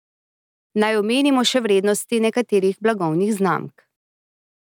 Naj omenimo še vrednosti nekaterih blagovnih znamk.